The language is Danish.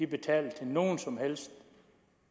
betaler til nogen som helst